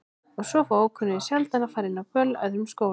Svo fá ókunnugir sjaldan að fara inn á böll í öðrum skólum.